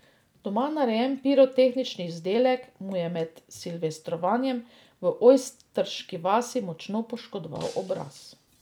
Doma narejen pirotehnični izdelek mu je med silvestrovanjem v Ojstriški vasi močno poškodoval obraz.